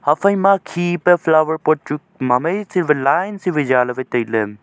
haphaima khi pa flower pot chu mamai si vai line si vai zaaley vai tailey.